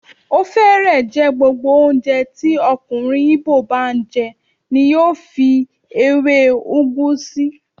Ó fẹ́rẹ̀ẹ́ jẹ́ gbogbo oúnjẹ tí ọkùnrin Igbo bá n jẹ ní yóò fi èwé ugu sí.